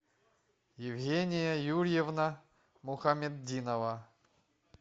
евгения юрьевна мухаметдинова